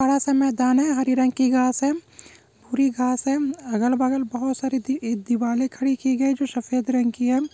बड़ा सा मैदान है हरे रंग की घास है पूरी घांस है अगल-बगल बहुत सारी दीवाले खड़ी की गई है जो सफेद रंग की है।